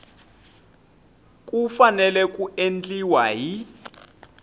ku fanele ku endliwa hi